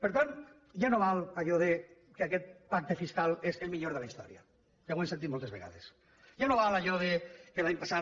per tant ja no val allò que aquest pacte fiscal és el millor de la història que ho hem sentit moltes vegades ja no val allò que l’any passat